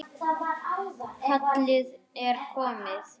Kallið er komið